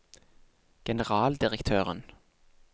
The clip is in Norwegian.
generaldirektøren